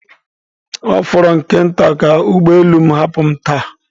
Ọ fọrọ nke nta ka ụgbọ elu m hapụ m taa